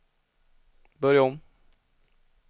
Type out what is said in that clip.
börja om